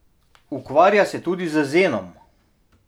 Ukvarja se tudi z zenom.